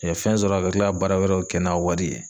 fɛn sɔrɔ a bɛ tila ka baara wɛrɛw kɛ n'a wari ye.